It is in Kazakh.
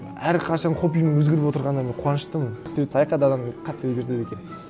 әрқашан хоббиім өзгеріп отрығанына мен қуаныштымын адамдды қатты өзгертеді екен